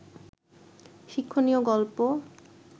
শিক্ষণীয় গল্প